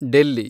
Delhi